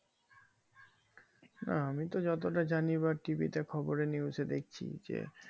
আমি তো যতটা জানি বা tv তে খবরে news এ দেখছি যে